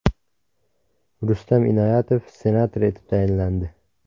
Rustam Inoyatov senator etib tayinlandi .